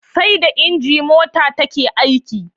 Sai da inji mota take aiki